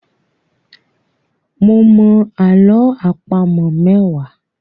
Mo mọ àlọ́ àpamọ̀ mẹ́wàá.